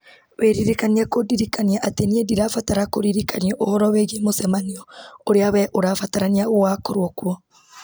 wĩririkanie kũndirikania atĩ nĩ ndĩrabatara kũririkanio ũhoro wĩgiĩ mũcemanio ũrĩa wee ũrabatarania ũgakorwo kuo